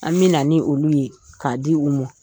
An bɛna na ni olu ye k'a di u ma